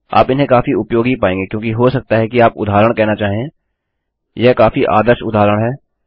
आप इन्हें काफी उपयोगी पायेंगे क्योंकि हो सकता है कि आप उदाहरण कहना चाहें यह काफी आदर्श उदाहरण है